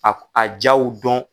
A a jaaw dɔn.